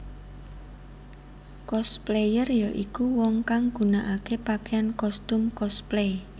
Cosplayer ya iku wong kang gunakaké pakaian kostum cosplay